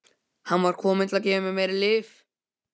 Hann var kominn til að gefa mér meiri lyf.